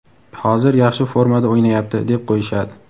hozir yaxshi formada o‘ynayapti deb qo‘yishadi.